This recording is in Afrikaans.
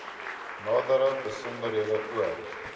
nadere besonderhede oor